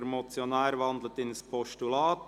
Der Motionär wandelt diese in ein Postulat.